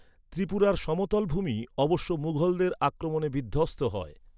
ত্রিপুরার সমতল ভূমি অবশ্য মুঘলদের আক্রমণে বিধ্ধস্ত হয়।